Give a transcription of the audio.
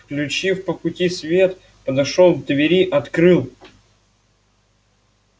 включив по пути свет подошёл к двери открыл